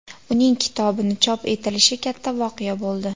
Uning kitobini chop etilishi katta voqea bo‘ldi.